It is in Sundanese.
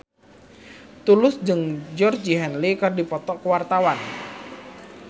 Tulus jeung Georgie Henley keur dipoto ku wartawan